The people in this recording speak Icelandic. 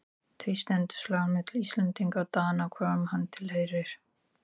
Því stendur slagurinn milli Íslendinga og Dana hvorum hann tilheyrir.